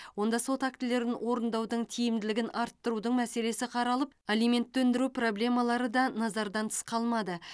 онда сот актілерін орындаудың тиімділігін арттырудың мәселесі қаралып алиментті өндіру проблемалары да назардан тыс қалмады